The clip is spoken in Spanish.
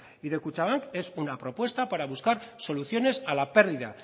y de kutxabank es una propuesta para buscar soluciones a la pérdida